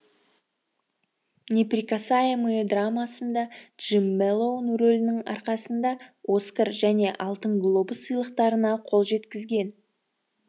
неприкасаемые драмасында джим мэлоун рөлінің арқасында оскар және алтын глобус сыйлықтарына қол жеткізген